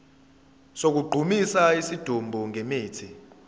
sokugqumisa isidumbu ngemithi